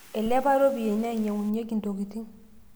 eilepa iropiani nainyang'unyieki intokitin